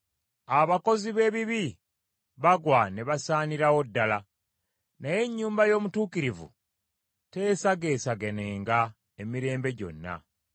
Abakozi b’ebibi bagwa ne basaanirawo ddala, naye ennyumba y’omutuukirivu teesagaasaganenga emirembe gyonna.